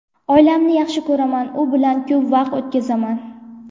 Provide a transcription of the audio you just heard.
Oilamni yaxshi ko‘raman, u bilan ko‘p vaqt o‘tkazaman.